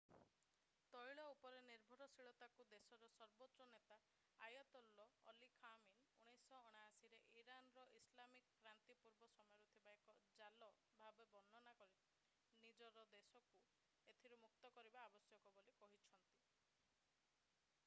ତୈଳ ଉପରେ ନିର୍ଭରଶୀଳତାକୁ ଦେଶର ସର୍ବୋଚ୍ଚ ନେତା ଆୟାତୋଲ୍ଲା ଅଲି ଖାମେନି 1979 ରେ ଇରାନର ଇସଲାମିକ କ୍ରାନ୍ତି ପୂର୍ବ ସମୟରୁ ଥିବା ଏକ ଜାଲ ଭାବରେ ବର୍ଣ୍ଣନା କରି ଦେଶ ନିଜକୁ ଏଥିରୁ ମୁକ୍ତ କରିବା ଆବଶ୍ୟକ ବୋଲି କହିଛନ୍ତି